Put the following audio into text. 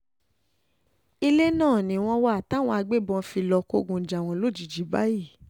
ilé náà ni wọ́n wà táwọn agbébọn fi lọ́ọ́ kógun jà wọ́n lójijì báyìí